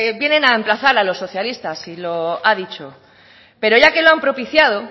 vienen a emplazar a los socialistas y lo ha dicho pero ya que lo han propiciado